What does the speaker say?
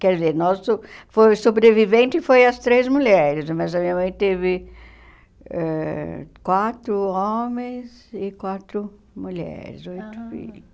Quer dizer, nosso foi sobrevivente foi as três mulheres, mas a minha mãe teve ãh quatro homens e quatro mulheres, oito filhos.